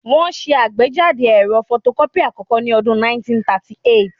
Wọ́n ṣe àgbéjáde ẹ̀rọ fotokọ́pì àkọ́kọ́ ní ọdún 1938